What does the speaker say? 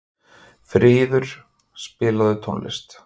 Fríður, spilaðu tónlist.